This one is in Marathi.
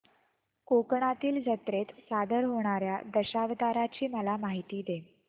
कोकणातील जत्रेत सादर होणार्या दशावताराची मला माहिती दे